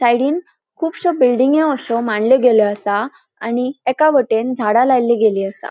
सायडीन खुबशो बिल्डींग्यो अशो मांडल्यो गेल्यो असा आणि एका वटेंन झाडा लायली गेल्ली असा.